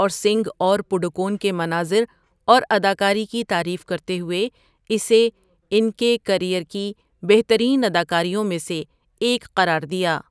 اور سنگھ اور پڈوکون کے مناظر اور اداکاری کی تعریف کرتے ہوئے اسے 'ان کے کیریئر کی بہترین اداکاریوں میں سے ایک' قرار دیا۔